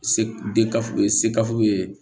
Se de ka fu se ka fu ye